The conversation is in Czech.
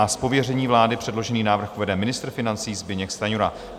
Z pověření vlády předložený návrh uvede ministr financí Zbyněk Stanjura.